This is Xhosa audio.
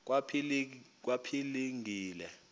kwaphilingile